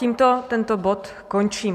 Tímto tento bod končí.